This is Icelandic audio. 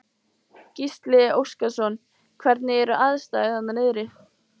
Gísli Óskarsson: Hvernig eru aðstæður þarna niðri?